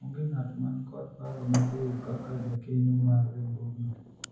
onge ng'at man kod paro maliwu kaka jakeno mar riwruogno